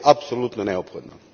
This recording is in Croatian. To je apsolutno neophodno.